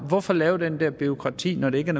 hvorfor lave det der bureaukrati når det ikke